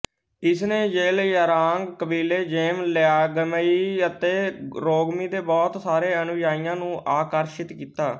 ਇਸ ਨੇ ਜ਼ੇਲਿਯ੍ਰਾਂਗ ਕਬੀਲੇ ਜ਼ੇਮ ਲਿਆਂਗਮਾਈ ਅਤੇ ਰੋਂਗਮੀ ਦੇ ਬਹੁਤ ਸਾਰੇ ਅਨੁਯਾਈਆਂ ਨੂੰ ਆਕਰਸ਼ਿਤ ਕੀਤਾ